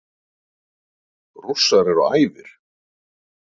Rússar eru æfir.